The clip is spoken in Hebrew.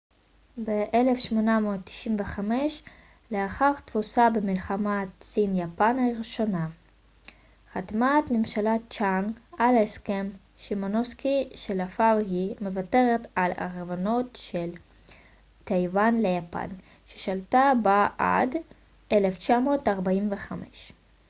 ב-1895 לאחר תבוסה במלחמת סין-יפן הראשונה 1894 - 1895 חתמה ממשלת צ'ינג על הסכם שימונוסקי שלפיו היא מוותרת על הריבונות על טייוואן ליפן ששלטה באי עד 1945